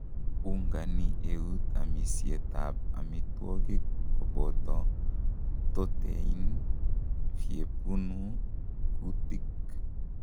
Ungani eut amisyet ap amitwoik kopoto ptotein vhepunu kutik.